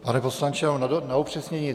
Pane poslanče, na upřesnění.